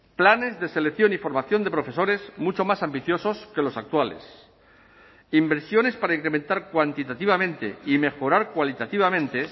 planes de selección y formación de profesores mucho más ambiciosos que los actuales inversiones para incrementar cuantitativamente y mejorar cualitativamente